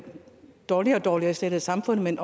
dårligere og dårligere stillet i samfundet men